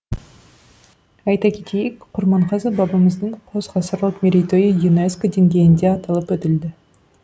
айта кетейік құрманғазы бабамыздың қос ғасырлық мерейтойы юнеско деңгейінде аталып өтілді